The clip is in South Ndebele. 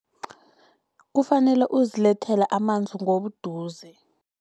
Kufanele uzilethele amanzi ngobuduze.